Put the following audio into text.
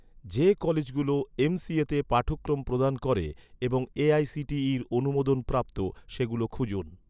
যে কলেজগুলো এমসিএতে পাঠক্রম প্রদান করে এবং এ.আই.সি.টি.ইর অনুমোদনপ্রাপ্ত, সেগুলো খুঁজুন